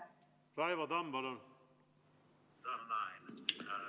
Raivo Tamm, palun!